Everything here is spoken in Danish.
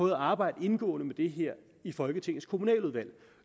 at arbejde indgående med det her i folketingets kommunaludvalg